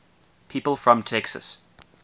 people from texas